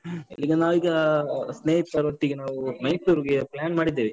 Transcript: ಎಲ್ಲಿಗೆ ನಾವೀಗ ಅಹ್ ಸ್ನೇಹಿತರೊಟ್ಟಿಗೆ ನಾವು ಮೈಸೂರ್ಗೆ plan ಮಾಡಿದ್ದೇವೆ.